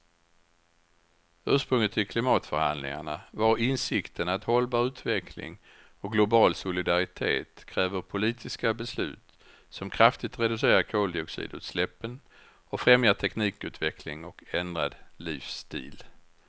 Ursprunget till klimatförhandlingarna var insikten att hållbar utveckling och global solidaritet kräver politiska beslut som kraftigt reducerar koldioxidutsläppen och främjar teknikutveckling och ändrad livsstil.